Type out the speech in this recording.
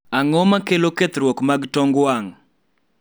ang'o makelo kethruok mag tong wang'